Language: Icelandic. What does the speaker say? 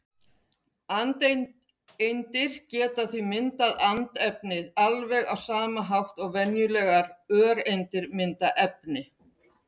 Andeindir geta því myndað andefni alveg á sama hátt og venjulegar öreindir mynda efni.